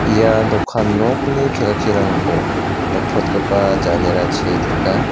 ia dokan nokni kelkirangko nikprotgipa janerachi teka.